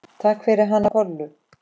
Takk fyrir hana Kollu.